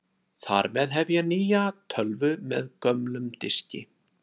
Þar með hef ég nýja tölvu með gömlum diski.